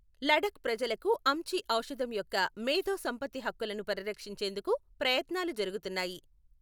లడఖ్ ప్రజలకు అమ్చి ఔషధం యొక్క మేధో సంపత్తి హక్కులను పరిరక్షించేందుకు ప్రయత్నాలు జరుగుతున్నాయి.